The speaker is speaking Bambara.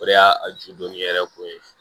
O de y'a a ju donni yɛrɛ ko ye